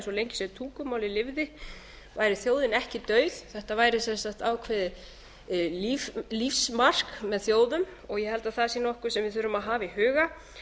að svo lengi sem tungumálið lifði væri þjóðin ekki dauð þetta væri sem sagt ákveðið lífsmark með þjóðum og ég held að það sé nokkuð sem við þurfum að hafa í huga